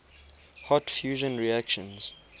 hot fusion reactions